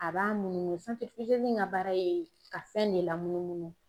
A b'a munumunu ka baara ye ka fɛn ne lamunumunu.